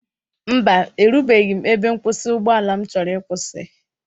Mba, erubeghị ebe nkwụsị ụgbọala m chọrọ ịkwụsị.